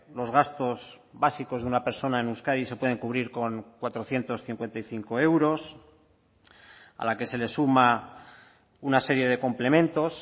los gastos básicos de una persona en euskadi se pueden cubrir con cuatrocientos cincuenta y cinco euros a la que se le suma una serie de complementos